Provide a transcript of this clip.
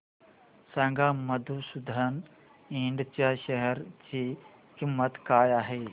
सांगा मधुसूदन इंड च्या शेअर ची किंमत काय आहे